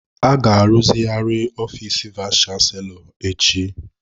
A ga-arụzigharị ofiis vayis chansilọ echi.